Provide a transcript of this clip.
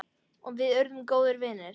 Og við urðum góðir vinir.